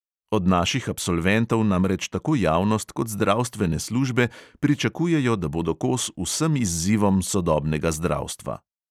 Od naših absolventov namreč tako javnost kot zdravstvene službe pričakujejo, da bodo kos vsem izzivom sodobnega zdravstva.